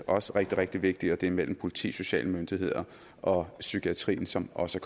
også rigtig rigtig vigtig og det er samarbejdet mellem politi sociale myndigheder og psykiatrien som også